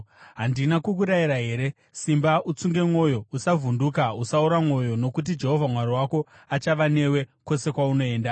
Handina kukurayira here? Simba utsunge mwoyo. Usavhunduka; usaora mwoyo, nokuti Jehovha Mwari wako achava newe kwose kwaunoenda.”